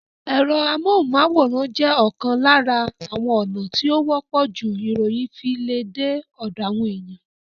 Ẹ̀rọ amóhùnmáwòrán jẹ́ ọ̀kan lára àwọn ònà tí ó wọ́pọ̀ jù ìròyìn fi le dé ọ̀dọ̀ àwọn ènìyàn